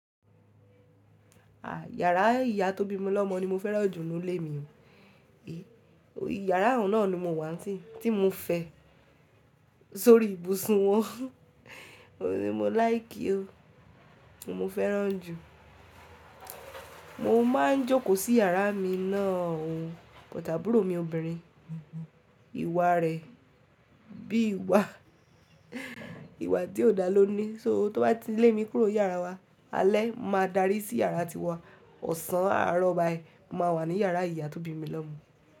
À, yàrá ìyá tó bími lọ́mọ̀ ni mo fẹ́ràn jù nínú ilé mi o. Yàrá ọ̀hun nà ni mo wà n sin tí mo fẹ́ sórí ibùsùn wọn, óhun ni mo láìkí o, ohun n mo fẹ́ràn jù. Mo máa ń jókòó sí yàrá mi náà o, but àbúrò mi obìnrin, ìwà rẹ̀ bí ìwà, ìwà tí ò dá ló ní, só tó bá ti lé mi kúrò n yàrá wa, alẹ́ máa dárí sí yàrá tiwa, ọ̀sán àárọ̀ báyìí máa wà ní yàrá ìyá tó bí mi lọ́mọ̀